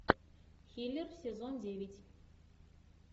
хилер сезон девять